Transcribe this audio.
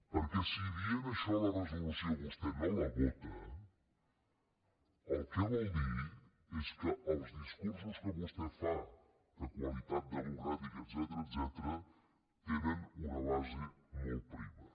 perquè si dient això la resolució vostè no la vota el que vol dir és que els discursos que vostè fa de qualitat democràtica etcètera tenen una base molt prima